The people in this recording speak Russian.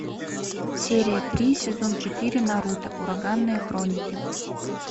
серия три сезон четыре наруто ураганные хроники